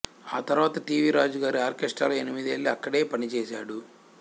ఆ తరువాత T V Raju గారి ఆర్కెస్ట్రాలో ఎనిమిదేళ్లు అక్కడే పనిచేశాడు